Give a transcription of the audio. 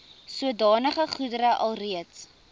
sodanige goedere alreeds